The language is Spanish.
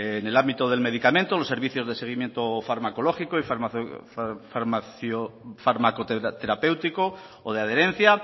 en el ámbito del medicamento los servicios se seguimiento farmacológico y farmacoteurapéutico o de adherencia